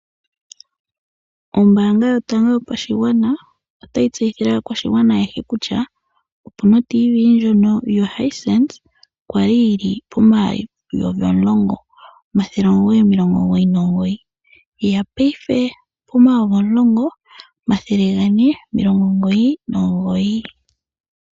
Ombaanga yotango yopashigwana otayi tseyithile aakwashigwana ayehe kutya oraandiyo ndjono yomuzizimba yo Samsung okwali yili pomayovi omulongo omathele omugoyi nomugoyi ihe oye ya payifepomayovi omulongo omathele gane nomilongo omugoyi nomugoyi